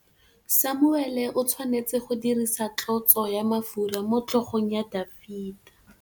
Samuele o tshwanetse go dirisa tlotsô ya mafura motlhôgong ya Dafita.